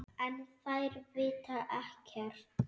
En þær vita ekkert.